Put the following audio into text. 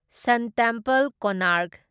ꯁꯟ temple, Konark